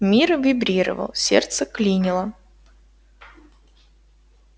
мир вибрировал сердце клинило